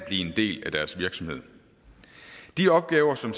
en del af deres virksomhed de opgaver som